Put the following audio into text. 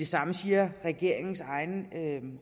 samme siger regeringens egen